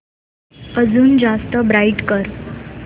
अजून जास्त ब्राईट कर